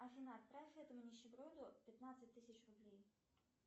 афина отправь этому нищеброду пятнадцать тысяч рублей